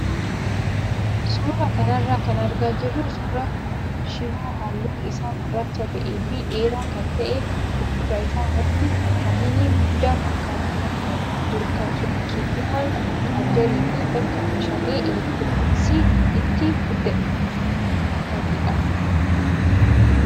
Suuraa kanarraa kan argaa jirru suuraa shiboo halluun isaa gurraacha ta'ee fi dheeraa kan ta'e kan fuuldura isaa wanti saahinii guddaa fakkaatu tokko jiru kan sokkeettiiwwan chaarjarii fi bakka meeshaalee elektirooniksii itti guutanidha.